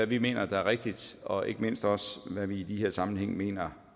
vi mener er rigtigt og ikke mindst om hvad vi i de her sammenhænge mener